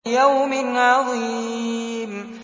لِيَوْمٍ عَظِيمٍ